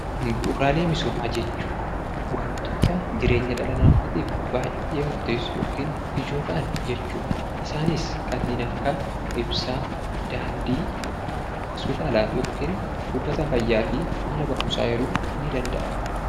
Bu'uuraalee misoomaa jechuun kanneen dhala namaatiif baayyee murteessaa ta'aaniidha. Isaanis kanneen akkaa ibsaa, daandii, mana yaalaa fi mana barumsaa eeruun ni danda'ama.